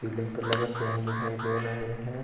Ceiling पर लगे fan दिखाई दे रहे हैं।